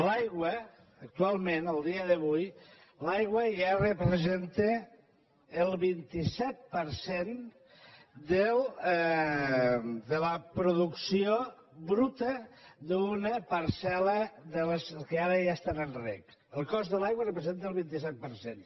l’aigua actualment el dia d’avui l’aigua ja representa el vint set per cent de la producció bruta d’una parcel·les que ara ja estan en reg el cost de l’aigua representa el vint set per cent